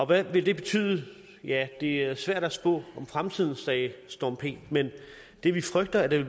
hvad vil det betyde ja det er svært at spå om fremtiden sagde storm p men det vi frygter det